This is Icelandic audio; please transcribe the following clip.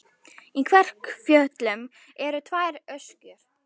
Í Kverkfjöllum eru tvær öskjur.